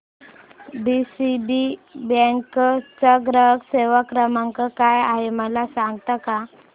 DCB bank चा ग्राहक सेवा क्रमांक काय आहे मला सांगता का